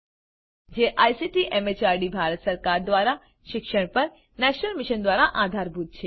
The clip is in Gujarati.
જે આઇસીટી એમએચઆરડી ભારત સરકાર દ્વારા શિક્ષણ પર નેશનલ મિશન દ્વારા આધારભૂત છે